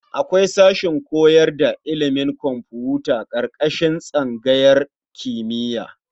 Akwai sashen koyar da ilimin kwamfuta ƙarƙashin tsangayar kimiyya.